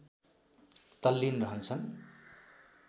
तल्लिन रहन्छन्